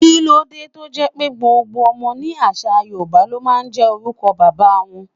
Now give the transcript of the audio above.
Kíló dé tó jẹ́ pé gbogbo ọmọ ní àṣà Yorùbá ló máa ń jẹ́ orúkọ bàbá wọn?